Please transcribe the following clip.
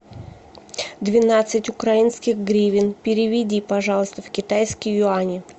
двенадцать украинских гривен переведи пожалуйста в китайские юани